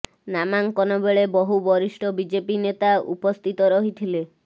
ନାମାଙ୍କନ ବେଳେ ବହୁ ବରିଷ୍ଠ ବିଜେପି ନେତା ଉପସ୍ଥିତ ରହିଥିଲେ